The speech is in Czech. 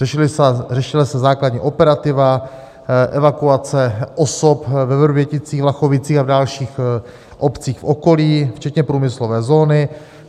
Řešila se základní operativa, evakuce osob ve Vrběticích, Vlachovicích a v dalších obcích v okolí, včetně průmyslové zóny.